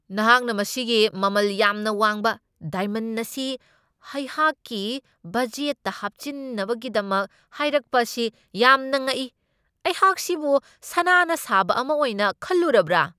ꯅꯍꯥꯛꯅ ꯃꯁꯤꯒꯤ ꯃꯃꯜ ꯌꯥꯝꯅ ꯋꯥꯡꯕ ꯗꯥꯏꯃꯟ ꯑꯁꯤ ꯑꯩꯍꯥꯛꯀꯤ ꯕꯖꯦꯠꯇ ꯍꯥꯞꯆꯤꯟꯅꯕꯒꯤꯗꯃꯛ ꯍꯥꯏꯔꯛꯄ ꯑꯁꯤ ꯌꯥꯝꯅ ꯉꯛꯏ ! ꯑꯩꯍꯥꯛꯁꯤꯕꯨ ꯁꯅꯥꯅ ꯁꯥꯕ ꯑꯃ ꯑꯣꯏꯅ ꯈꯜꯂꯨꯔꯕ꯭ꯔꯥ?